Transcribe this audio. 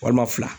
Walima fila